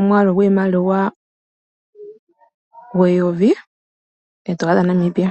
ondola dha Namibia eyovi